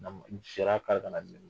Sira k'an ka na